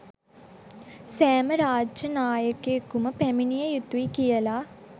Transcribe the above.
සෑම රාජ්‍ය නායකයකුම පැමිණිය යුතුයි කියල